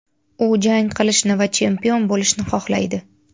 U jang qilishni va chempion bo‘lishni xohlaydi.